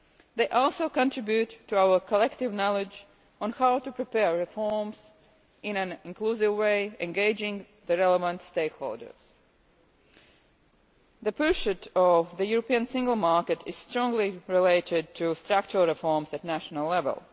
They also contribute to our collective knowledge on how to prepare reforms in an inclusive way, engaging the relevant stakeholders. The pursuit of the European single market is strongly related to structural reforms at national level.